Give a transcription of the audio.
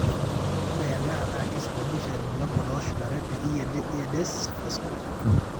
ore ena naa keisababisha irbulabol ooshulare te EDS, vasculer type.